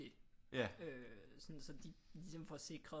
Øh sådan så de ligesom får sikret